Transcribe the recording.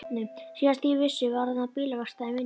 Síðast þegar ég vissi var þarna bílaverkstæði, minnir mig.